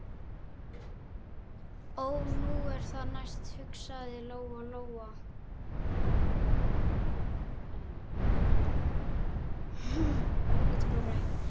Þetta könnuðu þeir Þórkell og kynntu niðurstöður sínar fyrir